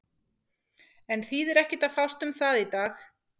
En þýðir ekki að fást um það í dag.